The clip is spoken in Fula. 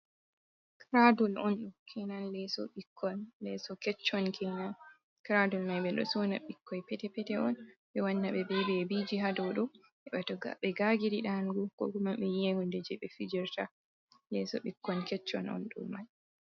Kiradul on, ɗo kenan leeso ɓikkon ,leeso keccon kenan. Kiradul may ɓe ɗo sonna ɓikkoy pete-pete on, ɓe wanna ɓe bebiji haa ɗoɗo to ɓe gagiri ɗanugo .Ko kuma ɓe yi'a hunde jey ɓe fijirta, leeso ɓikkon keccon on ɗo may.